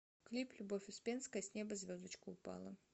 клип любовь успенская с неба звездочка упала